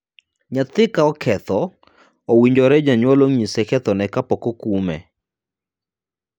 Nyathi ka oketho, owinjore janyuol onyise kethone kapok okume.